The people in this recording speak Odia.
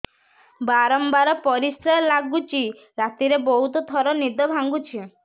ବାରମ୍ବାର ପରିଶ୍ରା ଲାଗୁଚି ରାତିରେ ବହୁତ ଥର ନିଦ ଭାଙ୍ଗୁଛି